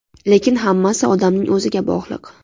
Lekin hammasi odamning o‘ziga bog‘liq.